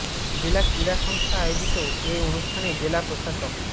জেলা ক্রীড়া সংস্থা আয়োজিত এ অনুষ্ঠানে জেলা প্রশাসক মো